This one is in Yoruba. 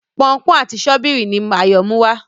Pọnpọ́n àti Sọ́bíìrì ni Ayo Muwá.